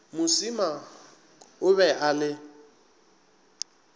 mosima o be a le